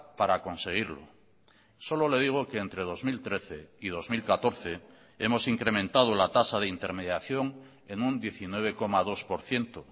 para conseguirlo solo le digo que entre dos mil trece y dos mil catorce hemos incrementado la tasa de intermediación en un diecinueve coma dos por ciento